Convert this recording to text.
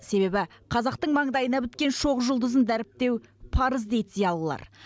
себебі қазақтың маңдайына біткен шоқ жұлдызын дәріптеу парыз дейді зиялылар